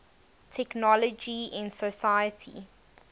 technology in society